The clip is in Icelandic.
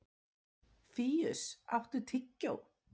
Fíus, áttu tyggjó?